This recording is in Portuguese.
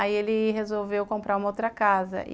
Aí, ele resolveu comprar uma outra casa.